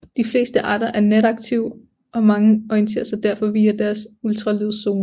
De fleste arter er nataktive og mange orienterer sig derfor via deres ultralydssonar